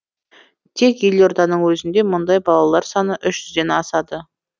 тек елорданың өзінде мұндай балалар саны үш жүзден асады